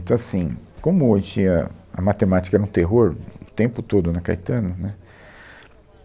Então, assim, como a gente tinha... a matemática era um terror o tempo todo na Caetano, né?